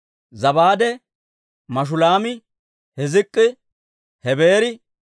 Zabaade, Mashulaami, Hizk'k'i, Hebeeri,